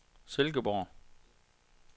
Silkeborg